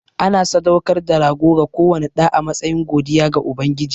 Ana sadaukar da rago ga kowane ɗa a matsayin godiya ga Ubangiji.